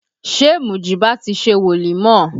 Ṣé Mujiba ti ṣe wolimọ?